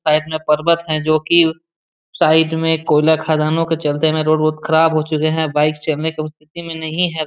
Side में पर्वत है जोकी साइड में कोयला खदानों के चलते रोड बहुत खराब हो चुके हैं बाइक चलने की स्थिति में नहीं है।